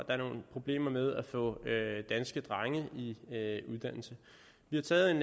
er nogle problemer med at få danske drenge i uddannelse vi har taget